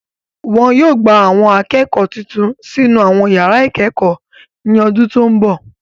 Wọn yóò gba Àwọn akẹ́kọ̀ọ́ tuntun sínú àwọn yàrá ìkẹ́kọ̀ọ́ ní ọdún tó ń bọ̀